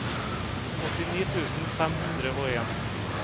åttini tusen fem hundre og en